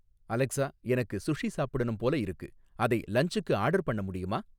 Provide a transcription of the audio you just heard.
Alexa எனக்கு sushi சாப்பிடணும் போல இருக்கு, அதை லன்ச்சுக்கு ஆர்டர் பண்ண முடியுமா